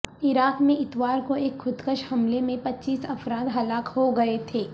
عراق میں اتوار کو ایک خود کش حملے میں پچیس افراد ہلاک ہو گئے تھے